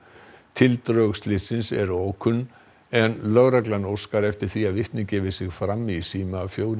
tildrög slyssins eru ókunn en lögregla óskar eftir því að vitni gefi sig fram í síma fjögur